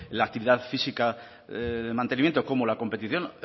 la actividad física de mantenimiento como la competición